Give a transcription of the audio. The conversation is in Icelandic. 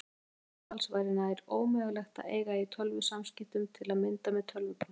Án slíks staðals væri nær ómögulegt að eiga í tölvusamskiptum, til að mynda með tölvupósti.